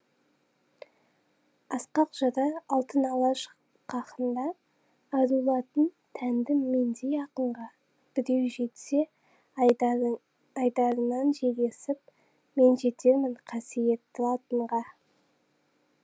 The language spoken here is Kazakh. асқақ жыры алтын алаш қахында ару латын тәнті мендей ақынға біреу жетсе айдары айдарынан жел есіп мен жетермін қасиетті латынға